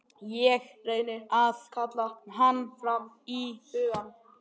Ég reyni að kalla hann fram í hugann.